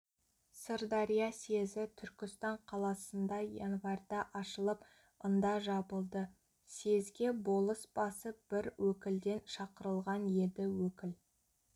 сырдария съезі түркістан қаласында январьда ашылып ында жабылды съезге болыс басы бір өкілден шақырылған еді өкіл